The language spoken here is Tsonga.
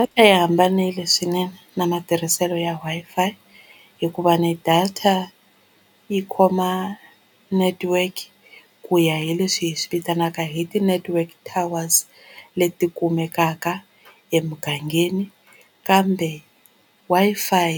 Data yi hambanile swinene na matirhiselo ya Wi-Fi hikuva ni data yi khoma network ku ya hi leswi hi swi vitanaka hi ti-network towers leti kumekaka emugangeni kambe Wi-Fi